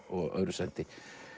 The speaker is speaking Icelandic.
og öðru sæti